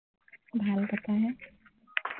ভাল কথাহে